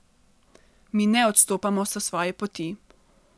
Mi ne odstopamo s svoje poti.